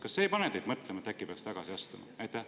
Kas see ei pane teid mõtlema, et äkki peaks tagasi astuma?